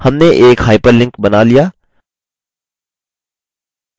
हमने एक hyperlink बना लिया!